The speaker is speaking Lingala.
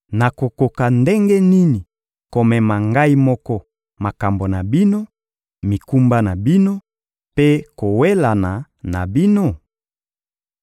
Nakokoka ndenge nini komema ngai moko makambo na bino, mikumba na bino, mpe kowelana na bino?